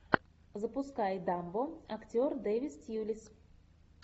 запускай дамбо актер дэвид тьюлис